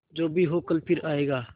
जो भी हो कल फिर आएगा